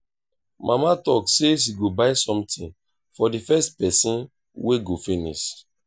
mama talk say she go buy something for the first person wey go finish